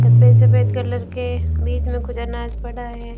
सफेद सफेद कलर के बीच में कुछ अनाज पड़ा है।